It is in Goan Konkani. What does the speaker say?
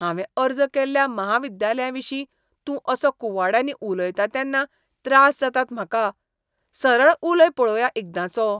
हांवें अर्ज केल्ल्या म्हाविद्यालयाविशीं तूं असो कुवाड्यांनी उलयता तेन्ना त्रास जातात म्हाका. सरळ उलय पळोवया एकदांचो.